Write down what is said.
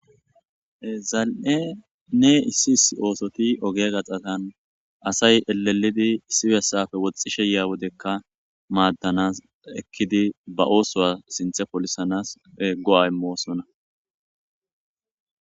Ee zal'enne issi issi oosothi ogee gaxazan asay elelidi issi bessappe woxishe yiiya wodekka maadanaas ekiddi ba ooisuwa sinthe polisaas go'a immoosona.